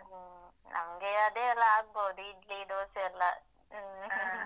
ಹ್ಮ್ ನಂಗೆ ಅದೇ ಎಲ್ಲ ಆಗ್ಬಹುದು ಇಡ್ಲಿ, ದೋಸೆ ಎಲ್ಲ. ಹ್ಮ್